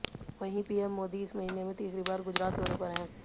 वहीं पीएम मोदी इस महीने में तीसरी बार गुजरात दौरे पर हैं